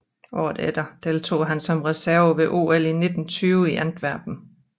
Året efter deltog han som reserve ved OL 1920 i Antwerpen